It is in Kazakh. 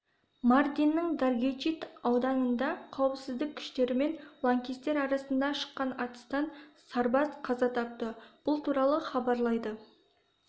мардиннің даргечит ауданында қауіпсіздік күштері мен лаңкестер арасында шыққан атыстан сарбаз қаза тапты бұл туралы хабарлайды